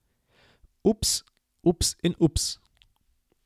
Ups, ups in ups.